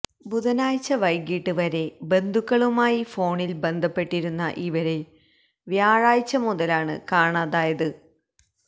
ബുധനാഴ്ച വൈകീട്ട് വരെ ബന്ധുക്കളുമായി ഫോണിൽ ബന്ധപ്പെട്ടിരുന്ന ഇവരെ വ്യാഴാഴ്ച മുതലാണ് കാണാതായത്